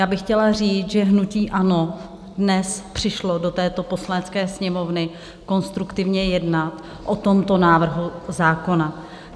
Já bych chtěla říct, že hnutí ANO dnes přišlo do této Poslanecké sněmovny konstruktivně jednat o tomto návrhu zákona.